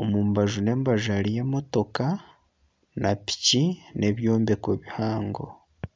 omu mbaju n'embaju hariyo emotooka na piki n'ebyombeko bihango.